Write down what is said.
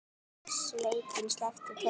Sveitin sleppti tökum.